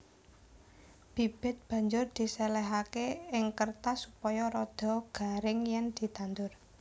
Bibit banjur diséléhaké ing kêrtas supaya rada garing yèn ditandur